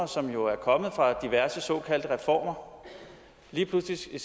som jo er kommet fra diverse såkaldte reformer lige pludselig skal